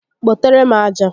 Kpotere m aja!